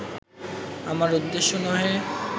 আমার উদ্দেশ্য নহে